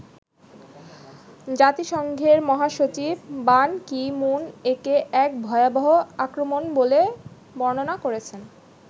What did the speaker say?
জাতিসংঘের মহাসচিব Ban Ki Moon একে 'এক ভয়াবহ আক্রমণ' বলে বর্ণনা করেছেন।